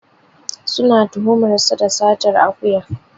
Suna tuhumar sa da satar akuya.